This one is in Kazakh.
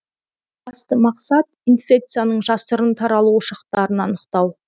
басты мақсат инфекцияның жасырын таралу ошақтарын анықтау